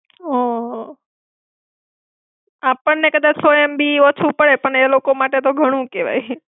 હમ આપણને કદાચ સો MB ઓછું પડે, પણ એલોકો માટે તો ઘણું કેવાય.